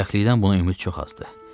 Bədbəxtlikdən buna ümid çox azdır.